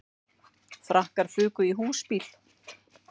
Frakkar fuku í húsbíl